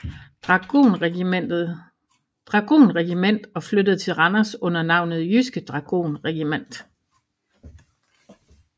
Dragonregiment og flyttede til Randers under navnet Jydske Dragonregiment